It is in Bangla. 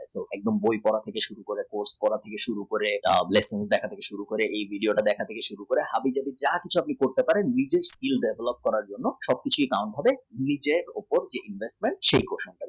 এবং বই পড়া থেকে শুরু করে কোনো machine এর উপরে post থেকে শুরু করে এই video থেকে শুরু করে হাবি যাবি যা কিছু করতে পারেন ওর মধ্যে even নির্দেশ দাওয়া block করার জন্য নিজের skill develop করার জন্যে সব কিছুর দাম বলে নিজের উপর investment